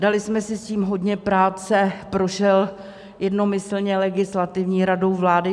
Dali jsme si s tím hodně práce, prošel jednomyslně legislativní radou vlády.